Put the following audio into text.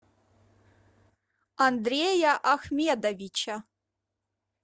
андрея ахмедовича